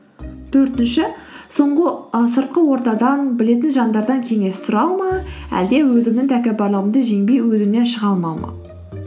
төртінші ы сыртқы ортадан білетін жандардан кеңес сұрау ма әлде өзімнің тәкаппарлығымды жеңбей өзімнен шыға алмау ма